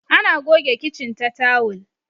ana goge kicin ta tawul